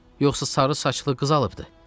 Yoxsa sarı saçlı qız alıbdır?